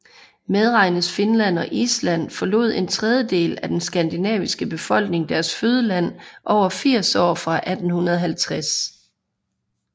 Medregnes Finland og Island forlod en tredjedel af den skandinaviske befolkning deres fødeland over firs år fra 1850